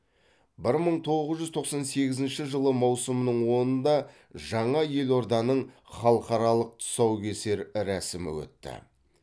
бір мың тоғыз жүз тоқсан сегізінші жылы маусымның онында жаңа елорданың халықаралық тұсаукесер рәсімі өтті